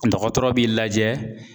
Dɔgɔtɔrɔ b'i lajɛ